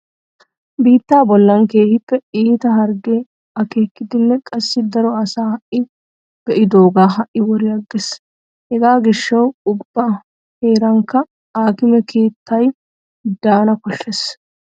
Biittaa bollan keehippe iita harggee aakkiiddinne qassi daro asa ha"i be'idooga ha"i wori aggees. Hega gishshawu ubba heeraanikka aakime keettay daana koshshees.